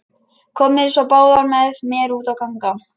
Komiði svo báðar með mér út að ganga.